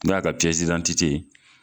N'a ka ye